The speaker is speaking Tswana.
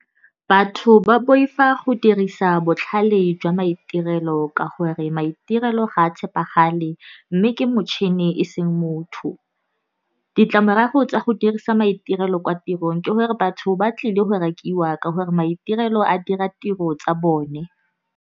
Batho ba boifa go dirisa botlhale jwa maitirelo ka gore maitirelo ga a tshepagale, mme ke motšhini e seng motho. Ditlamorago tsa go dirisa maitirelo kwa tirong, ke gore batho ba tlile go rakiwa ka gore maitirelo a dira tiro tsa bone.